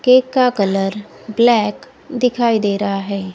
Cake का colour black दिखाई दे रहा है।